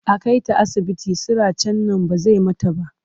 A kai ta asibiti siracen nan ba zai mata ba.